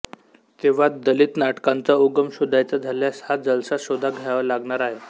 तेव्हा दलित नाटकांचा उगम शोधायचा झाल्यास ह्या जलसा शोधा घ्यावा लागणार आहे